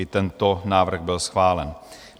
I tento návrh byl schválen.